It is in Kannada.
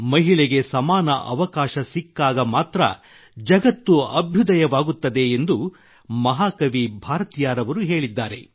ಮಹಿಳೆಗೆ ಸಮಾನ ಅವಕಾಶ ಸಿಕ್ಕಾಗ ಮಾತ್ರ ಜಗತ್ತು ಅಭ್ಯುದಯವಾಗುತ್ತದೆ ಎಂದು ಮಹಾಕವಿ ಭಾರತಿಯಾರ್ ಅವರು ಹೇಳಿದ್ದಾರೆ